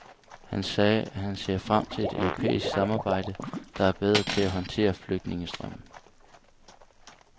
Han sagde, at han ser frem til et europæisk samarbejde, der er bedre til at håndtere flygtningestrømmen.